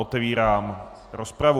Otevírám rozpravu.